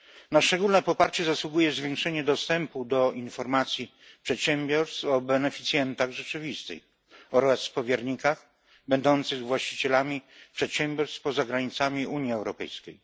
Na szczególne poparcie zasługuje zwiększenie dostępu do informacji przedsiębiorstw o beneficjentach rzeczywistych oraz powiernikach będących właścicielami przedsiębiorstw poza granicami Unii Europejskiej.